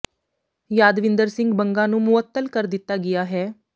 ਯਾਦਵਿੰਦਰ ਸਿੰਘ ਬੰਗਾ ਨੂੰ ਮੁਅੱਤਲ ਕਰ ਦਿੱਤਾ ਗਿਆ ਹੈ